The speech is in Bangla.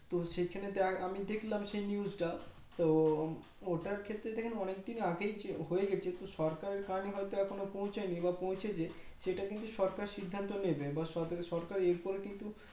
তো সেখানে তো এক আমি দেখলাম সেই News টা তো ওটার ক্ষেত্রে অনেকদিন আগেই যে হয়ে গেছে তো সরকার Time মতো হয় তো এখনো পৌঁছায় নি বা পৌঁছেছে সেটা কিন্তু সরকার সিদ্ধান্ত নেবে বা সরকার এরপর কিন্তু